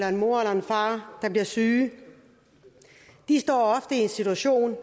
en mor eller en far der bliver syge står ofte i en situation